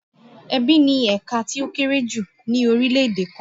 Ẹbí ni ẹ̀ka tí ó kéré jù lọ ní orílè-èdè kan.